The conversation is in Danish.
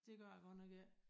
Det gør jeg godt nok ikke